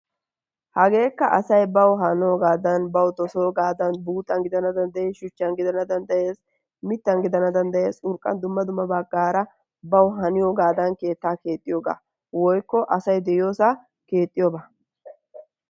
Hageekka asay bawu hanoogaadan bawu dossogaadan buuxxan gidana danddayees shuchan gidana danddayees, mitan gidana dandayees urqan Dumma dummabagaara bawu haniyogadan keetta keexxiyogaa woykko asay de'iyoosaa keexxiyoogaa.